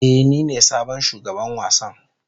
Ee, nine sabon shugaban wasan.